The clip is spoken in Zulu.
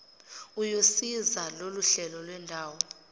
uyosiza loluhlelo lwendawo